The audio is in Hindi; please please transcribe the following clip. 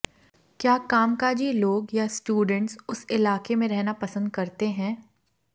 क्या कामकाजी लोग या स्टूडेंट्स उस इलाके में रहना पसंद करते हैं